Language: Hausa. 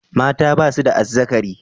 Mata ba su da azzakari.